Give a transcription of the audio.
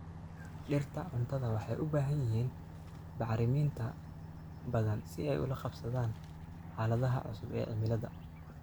Dhirta cuntada waxay u baahan yihiin bacriminta badan si ay ula qabsadaan xaaladaha cusub ee cimilada.